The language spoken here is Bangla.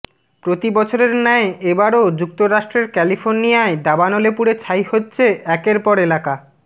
প্রতি বছরের ন্যায় এবারও যুক্তরাষ্ট্রের ক্যালিফোর্নিয়ায় দাবানলে পুড়ে ছাই হচ্ছে একের পর এলাকা